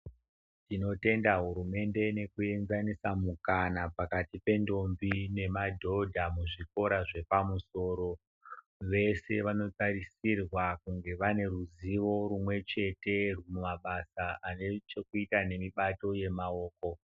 Tinotenda hurumende nekuenzasisa mukana pakati pendombi nemadhodha muzvikora zvepamusoro vese vanotarisirwa kunge vaneruzivo rumwechete mumabasa anechekuita nemibati yemaoko.